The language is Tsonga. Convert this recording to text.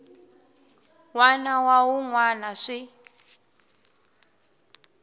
wana na wun wana swi